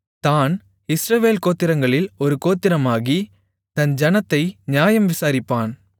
தாண் Israel கோத்திரங்களில் ஒரு கோத்திரமாகி தன் ஜனத்தை நியாயம் விசாரிப்பான்